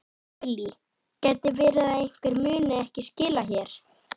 Þóra Kristín Ásgeirsdóttir: Hvenær stendur til að rífa húsið?